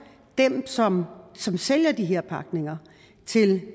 dem som som sælger de her pakninger til